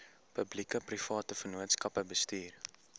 publiekeprivate vennootskappe bestuur